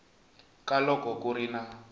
ka loko ku ri na